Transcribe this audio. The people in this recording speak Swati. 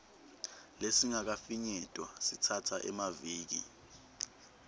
lesingakafinyetwa sitsatsa emaviki